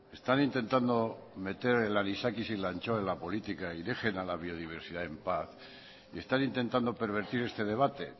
están intentando meter el anisakis y la anchoa en la política y dejen a la biodiversidad en paz están intentando pervertir este debate